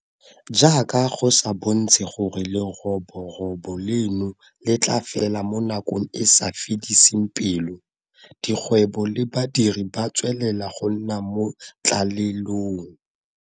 Jaaka go sa bontshe gore leroborobo leno le tla fela mo nakong e e sa fediseng pelo, dikgwebo le badiri ba tswelela go nna mo tlalelong.